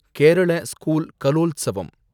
Kerala school Kalolsavam